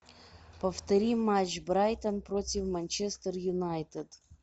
повтори матч брайтон против манчестер юнайтед